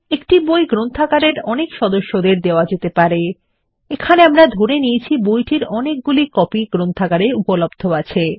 একটি বই গ্রন্থাগারের অনেক সদস্যদের দেওয়া যেতে পারে এখানে আমরা ধরে নিয়েছি বইটির অনেকগুলি কপি গ্রন্থাগারে উপলব্ধ আছে